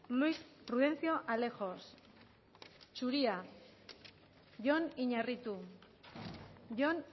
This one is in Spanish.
luis prudencio alejos zuria jon iñarritu jon